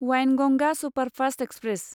Wainganga superfast express